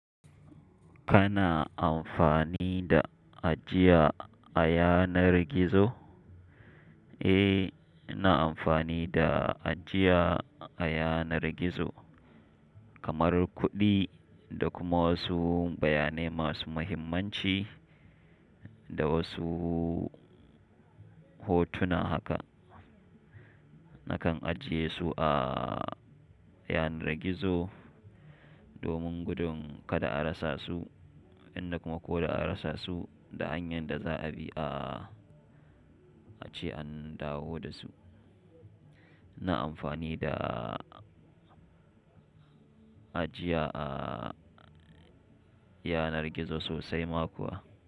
Kana amfani da ajiya a yanar gizo? Eh, ina amfani da ajiya a yanar gizo kamar kuɗi da kuma wasu bayanai masu muhimmanci da wasu hotuna haka. Nakan ajiye su a yanar gizo domin gudun kada a rasa su, inda kuma koda an rasa su da hanyar da za'a bi a ce an dawo da su. Na amfani da ajiya a yanar gizo sosai ma kuwa.